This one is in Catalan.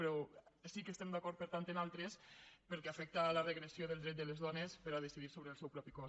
però sí que estem d’acord per tant amb altres pel que afecta la regressió del dret de les dones per a decidir sobre el seu propi cos